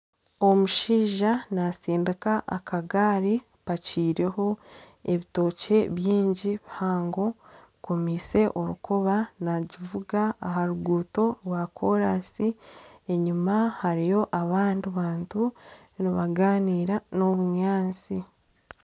Omushaija natsindika akagaari hapakiireho ebitookye bingi bihango akomeise orukoba nagivuga aharuguuto rwa kolansi enyuma hariyo abandi bantu nibagaanira nana obunyatsi.